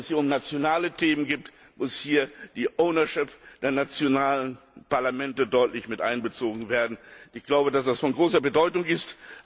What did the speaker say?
Weil es hier um nationale Themen geht, muss hier die o wnership der nationalen Parlamente deutlich miteinbezogen werden. Ich glaube, dass das von großer Bedeutung ist.